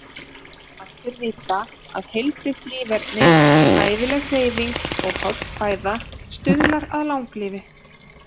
Allir vita að heilbrigt líferni, hæfileg hreyfing og holl fæða stuðlar að langlífi.